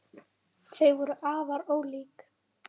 Þau voru afar ólík.